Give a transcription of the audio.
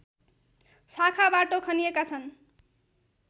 शाखा बाटो खनिएका छन्